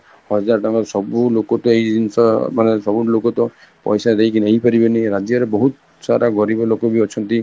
ହଜାର ତାଙ୍କ ସବୁ ଲୋକ ତ ଏଇ ଜିନିଷ ମାନେ ସବୁ ଲୋକ ତ ପଇସା ଦେଇକି ନେଇ ପାରିବେନି ରାଜ୍ୟରେ ବହୁତ ସାରା ଗରିବବ ଲୋକ ବି ଅଛନ୍ତି